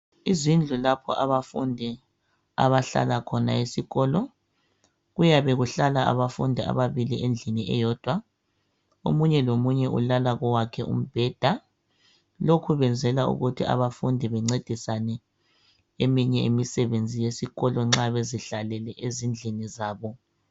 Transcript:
izindlu lapho abafundi abahlala khona esikolo kuyabe kuhlala abafundi ababili endlini eyodwa omunye lomunye ulala kowakhe umbheda lokhu kwenzelwa ukuthi abafundi bencedisane kweminye imisebenzi yesikolo nxa bezihlahlele ezindlini zabo